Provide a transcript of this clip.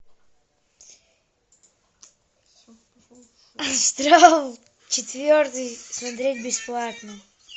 астрал четвертый смотреть бесплатно